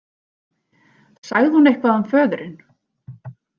Sagði hún eitthvað um föðurinn?